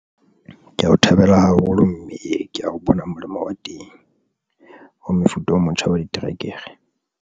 Ke ya o thabela haholo mme ke ya o bona molemo o teng o mefuta o motjha wa diterekere.